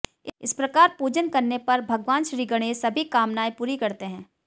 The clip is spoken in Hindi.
इस प्रकार पूजन करने पर भगवान श्रीगणेश सभी कामनाएं पूरी करते हैं